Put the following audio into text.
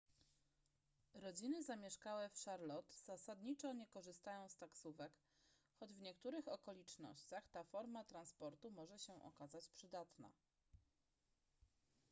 rodziny zamieszkałe w charlotte zasadniczo nie korzystają z taksówek choć w niektórych okolicznościach ta forma transportu może się okazać przydatna